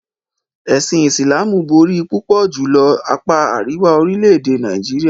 Ẹ̀sìn Islamú bọ̀rí púpọ̀ julọ̀ ni àpá aríwà orílẹ̀-èdè Nàìjíríà.